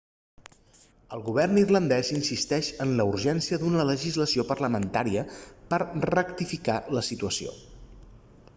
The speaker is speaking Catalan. el govern irlandès insisteix en la urgència d'una legislació parlamentària per a rectificar la situació